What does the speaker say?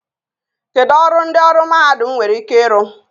Kedu ọrụ ndị ọrụ mahadum nwere ike ịrụ?